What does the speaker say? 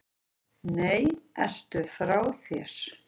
Nei, ertu frá þér?